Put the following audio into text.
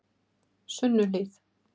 Sunnuhlíð